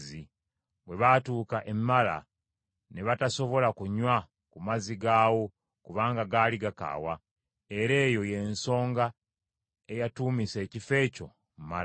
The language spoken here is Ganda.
Bwe baatuuka e Mala, ne batasobola kunywa ku mazzi gaawo, kubanga gaali gakaawa: era eyo y’ensonga eyatuumisa ekifo ekyo Mala.